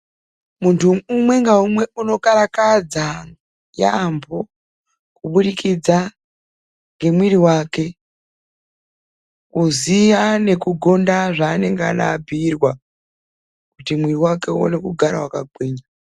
Muntu umwe ngaumwe unokarakadza yaamho kubudikidza ngemwiri wake, kuziya nekugonda zvaanenge arapiirwa, kuti mwiri wake uone kugara wakagwinya.